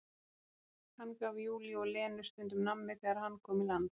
Hann gaf Júlíu og Lenu stundum nammi þegar hann kom í land.